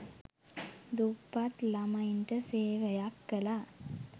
දුප්පත් ළමයින්ට සේවයක් කළා.